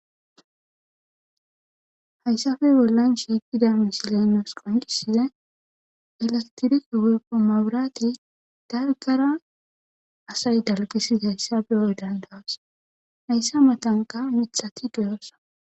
hayssafe bollan shiiqida misilenos qonqisie ilastirike weyppo maburati dargara asay dalqisid hayssabe hoy dandawas hayssa matanka mithati duyoossa